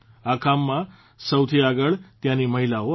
આ કામમાં સૌથી આગળ ત્યાંની મહિલાઓ આવી